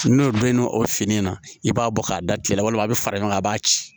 N'o donnen no o fini na i b'a bɔ k'a da cɛ la walima a bɛ fara ɲɔgɔn kan a b'a ci